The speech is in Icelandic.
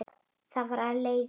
Þar af leiðir